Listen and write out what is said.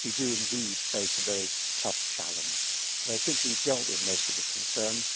We do indeed face a very tough challenge, but I think we have dealt with most of the concerns.